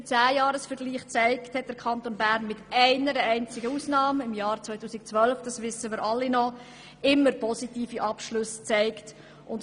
Wie der Zehnjahresvergleich zeigt, hat der Kanton Bern mit einer einzigen Ausnahme im Jahr 2012 immer positive Abschlüsse aufgewiesen.